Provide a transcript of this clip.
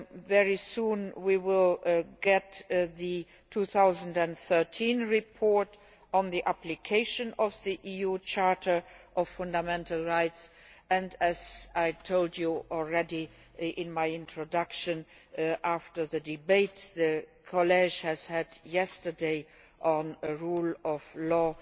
Very soon we will receive the 2013 report on the application of the EU Charter of Fundamental Rights and, as I told you in my introduction, after the debate the College had yesterday on a rule of law